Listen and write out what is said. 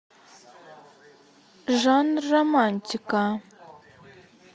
жанр романтика